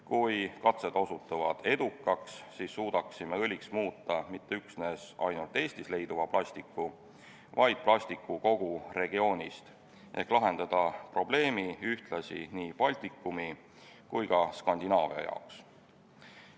Kui katsed osutuvad edukaks, siis suudaksime õliks muuta mitte üksnes Eestis leiduva plastiku, vaid kogu regiooni plastiku ehk lahendada probleemi ühtlasi nii Baltikumi kui ka Skandinaavia jaoks.